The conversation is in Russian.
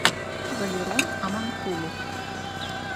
валерон амонкулов